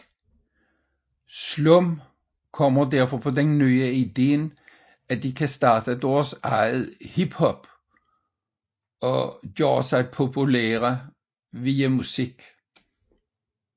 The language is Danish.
Slum kommer derfor på den nye idé at de kan starte deres eget hiphop og tilegen sig popularitet via musik